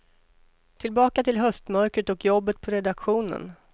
Tillbaka till höstmörkret och jobbet på redaktionen.